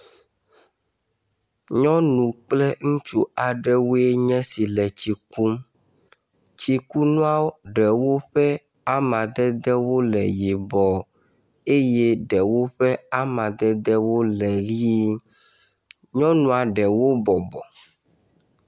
Nyɔnu kple ŋutsu aɖewoe nye esi le tsi kum. Tsikunua ɖewo ƒe amadedewo le yibɔ eye ɖewo ƒe amadedewo le ʋi, Nyɔnua ɖewo bɔbɔ.